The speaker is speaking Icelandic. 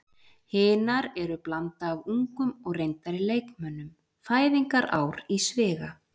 Hinar eru blanda af ungum og reyndari leikmönnum, fæðingarár í sviga.